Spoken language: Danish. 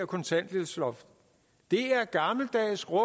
kontanthjælpsloft det er gammeldags rå